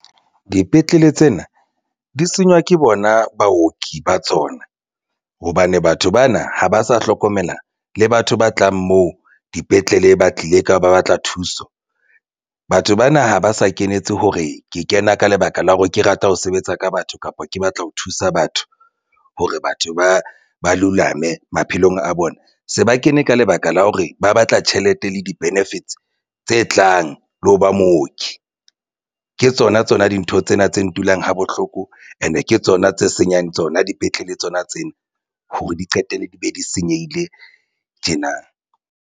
Dipetlele tsena di senywa ke bona baoki ba tsona hobane batho bana ha ba sa hlokomela le batho ba tlang moo dipetlele ba tlile ka ba batla thuso. Batho bana ha ba sa kenetse hore ke kena ka lebaka la hore ke rata ho sebetsa ka batho kapa ke batla ho thusa batho hore batho ba lulame maphelong a bona se ba kene ka lebaka la hore ba batla tjhelete le di-benefits tse tlang le ho ba mooki. Ke tsona tsona dintho tsena tse ntulang ha bohloko and-e ke tsona tse senyang tsona dipetlele tsona tsena hore di qetelle di be di senyehile tjena.